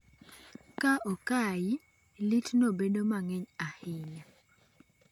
Ka okai, litno bedo mang'eny ahinya.